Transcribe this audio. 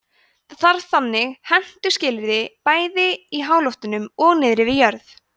það þarf þannig hentug skilyrði bæði í háloftunum og niðri við jörð